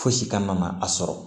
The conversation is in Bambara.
Fosi kana ma a sɔrɔ